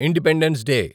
independence day